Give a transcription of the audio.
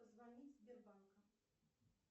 позвонить в сбербанка